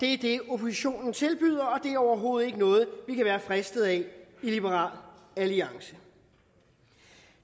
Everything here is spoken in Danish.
er det oppositionen tilbyder og er overhovedet ikke noget vi kan være fristet af i liberal alliance